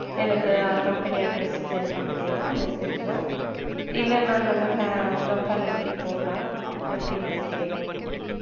எனக்க company address send பண்றியா message இல்ல நான job fair இருக்கிறதுக்கே போட்டா எப்படி செய்யட்டும்.